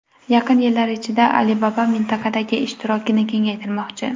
Yaqin yillar ichida Alibaba mintaqadagi ishtirokini kengaytirmoqchi.